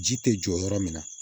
Ji tɛ jɔ yɔrɔ min na